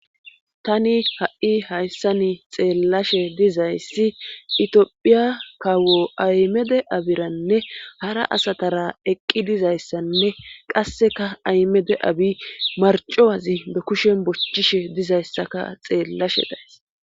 tani ha7i hayssani xeellashe dizayssi itiophiya kaawo aymede abiranne hara asatara eqqi dizayssanne qasseka aymede abi marcowazi be kushen bochchishe dizayssaka xeellashe days